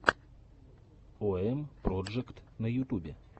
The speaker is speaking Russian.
ом проджект на ютубе